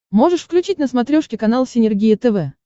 можешь включить на смотрешке канал синергия тв